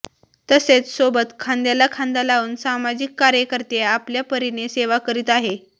तसेच सोबत खांद्याला खांदा लावून समाजिक कार्यकर्ते आपल्या परीने सेवा करीत आहे